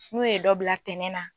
N'o ye dɔ bila tɛnɛ na.